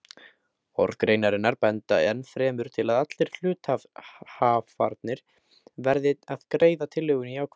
Orð greinarinnar benda ennfremur til að allir hluthafarnir verði að greiða tillögunni jákvæði.